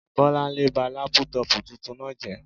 Bọ́lánlé ba lápútọ̀pù tuntun náà jẹ́